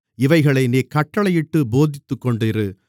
இவைகளை நீ கட்டளையிட்டுப் போதித்துக்கொண்டிரு